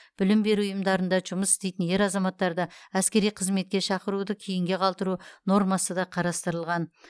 білім беру ұйымдарында жұмыс істейтін ер азаматтарды әскери қызметке шақыруды кейінге қалдыру нормасы да қарастырылған